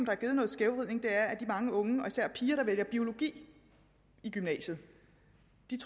har givet noget skævvridning er de mange unge og især piger der vælger biologi i gymnasiet